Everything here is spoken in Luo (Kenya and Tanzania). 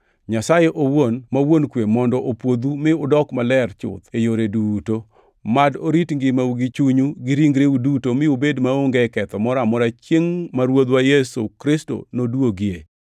Nyasaye owuon, ma Wuon kwe mondo opwodhu mi udok maler chuth e yore duto. Mad orit ngimau gi chunyu gi ringreu duto mi ubed maonge ketho moro amora chiengʼ ma Ruodhwa Yesu Kristo noduogie.